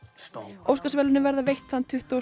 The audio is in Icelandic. Óskarsverðlaunin verða veitt þann tuttugasta